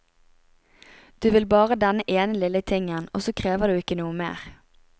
Du vil bare denne ene lille tingen, også krever du ikke noe mer.